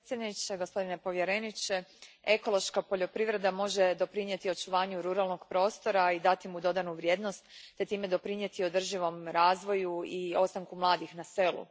Poštovani predsjedavajući, gospodine povjereniče, ekološka poljoprivreda može doprinijeti očuvanju ruralnog prostora i dati mu dodanu vrijednost te time doprinijeti održivom razvoju i ostanku mladih na selu.